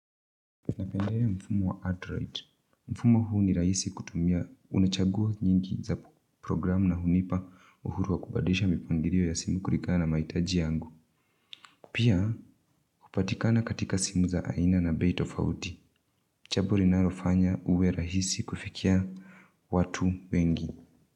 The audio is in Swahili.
Napendelea mfumo wa Android. Mfumo huu ni rahisi kutumia unachagua nyingi za programu na hunipa uhuru wa kubadisha mipangilio ya simu kulingana na mahitaji yangu. Pia, hupatikana katika simu za aina na bei tofauti. Jambo linalofanya uwe rahisi kufikia watu wengi.